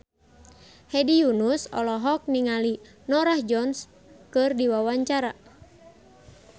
Hedi Yunus olohok ningali Norah Jones keur diwawancara